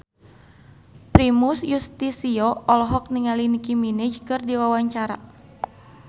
Primus Yustisio olohok ningali Nicky Minaj keur diwawancara